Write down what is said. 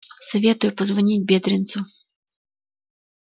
советую позвонить бедренцу